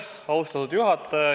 Austatud juhataja!